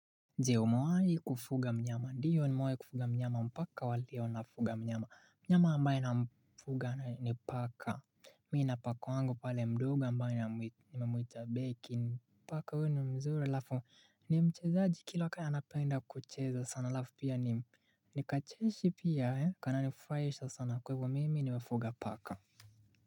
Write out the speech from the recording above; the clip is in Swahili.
Je, umewahi kufuga mnyama? Ndiyo ni mwai kufuga mnyama. Mpaka wa leo nafuga mnyama. Mnyama ambaye namfuga ni paka. Mi na paka wangu pale mdogo ambaye namwita Becky. Paka huyu ni mzuri halafu ni mchezaji kila waka anapenda kucheza sana halafu pia ni ni kacheshi pia eh. Kananifurahisha sana. Kwa hivyo mimi nimefuga paka.